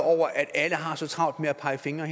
alle har så travlt med at pege fingre